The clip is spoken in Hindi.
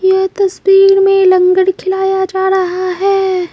यह तस्वीर में लंगड़ खिलाया जा रहा है।